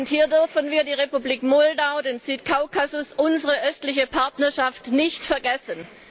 Hier dürfen wir die Republik Moldau, den Südkaukasus, unsere Östliche Partnerschaft nicht vergessen!